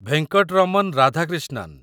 Venkataraman Radhakrishnan